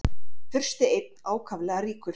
Fursti einn ákaflega ríkur.